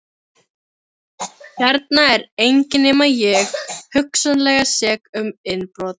Hérna er enginn nema ég, hugsanlega sek um innbrot.